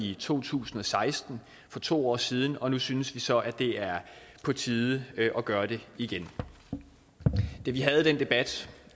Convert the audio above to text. i to tusind og seksten for to år siden og nu synes vi så at det er på tide at gøre det igen da vi havde den debat